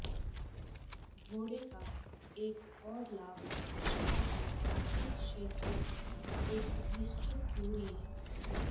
घोड़े का एक और लाभ शहर के इस क्षेत्र की एक निश्चित दूरी है